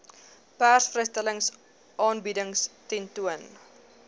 persvrystellings aanbiedings tentoon